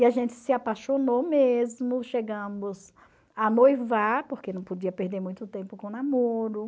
E a gente se apaixonou mesmo, chegamos a noivar, porque não podia perder muito tempo com o namoro.